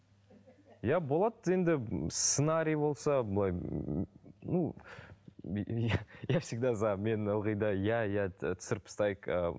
иә болады енді сценарий болса былай ну я всегда за мен ылғи да иә иә ы түсіріп тастайық ыыы